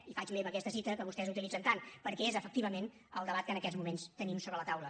i faig meva aquesta cita que vostès utilitzen tant perquè és efectivament el debat que en aquests moments tenim sobre la taula